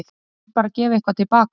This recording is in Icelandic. Ég vil bara gefa eitthvað til baka.